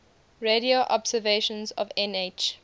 radio observations of nh